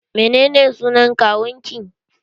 Menene sunan kawun ki?